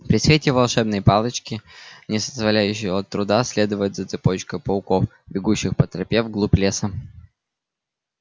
при свете волшебной палочки не составляющего труда следовать за цепочкой пауком бегущих по тропе в глубь леса